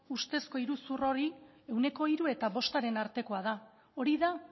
ustezko iruzur hori ehuneko hiru eta bostaren artekoa da hori da